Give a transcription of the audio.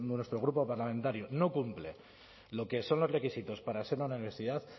nuestro grupo parlamentario no cumple lo que son los requisitos para ser una universidad